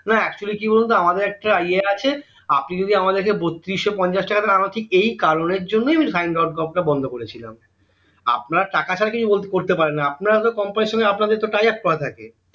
না actually কি বলতো আমাদের একটা ইয়ে আছে আপনি যদি আমাদেরকে বত্রিশো পঞ্চাশ টাকা দেন আমি বলছি ঠিক এই কারণের জন্যই সাইন ডট কম টা বন্দ করেছিলাম আপনারা টাকা ছাড়া তো কিছু করতে পারেন না আপনাদের তো company সঙ্গে tayaf করা থাকে